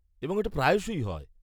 এবং এটা প্রায়শই হয়।